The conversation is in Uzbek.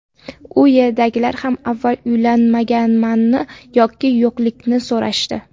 U yerdagilar ham avval uylanganmanmi yoki yo‘qligini so‘rashdi.